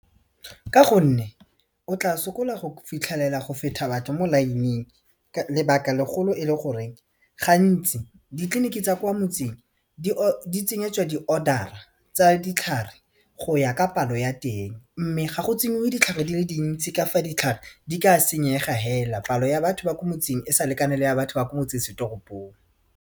Ka gonne o tla sokola go fitlhelela go feta batho mo line-ing lebaka legolo e le gore gantsi ditleliniki tsa kwa motseng di tsenyetswa di order-a tsa ditlhare go ya ka palo ya teng mme ga go tsenngwe ditlhare di le dintsi ka fa ditlhare di ka senyega hela palo ya batho ba ko motseng e sa lekane le ya batho ba ko motsesetoropong.